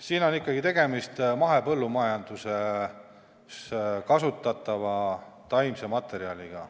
Siin on ikkagi tegemist mahepõllumajanduses kasutatava taimse materjaliga.